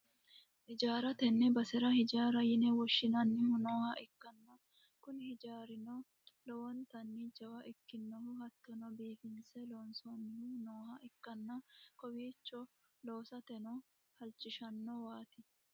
hijaara, tenne basera hijaara yine woshhsinannihu nooha ikkanna, kuni hijaarino lowontanni jawa ikkinohu hattono biifinse loonsoonnihu nooha ikkanna, kowiicho loosateno halchishannowaati.